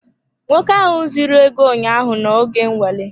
Nwoke ahụ zuru ego ụnyaahụ nọ oge nnwale.